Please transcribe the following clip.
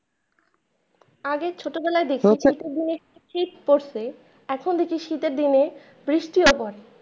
আগের ছোটবেলা দেখেছি যে শীত পড়ছে, এখন দেখছি শীতের দিনে বৃষ্টিও পড়ে।